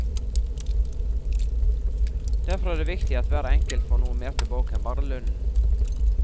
Derfor er det viktig at hver enkelt får noe mer tilbake enn bare lønnen.